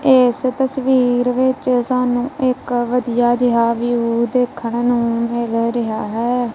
ਏਸ ਤਸਵੀਰ ਵਿੱਚ ਸਾਨੂੰ ਇੱਕ ਵਧੀਆ ਜੇਹਾ ਵਿਊ ਦੇਖਣ ਨੂੰ ਮਿਲ ਰਿਹਾ ਹੈ।